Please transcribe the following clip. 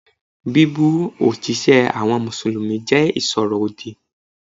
Bíbú òjíṣẹ́ àwọn Mùsùlùmí jẹ́ ìsọ̀rọ̀ òdì.